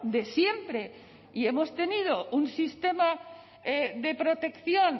de siempre y hemos tenido un sistema de protección